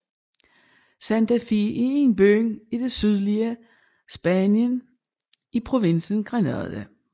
Santa Fe er en by i det sydlige Spanien i provinsen Granada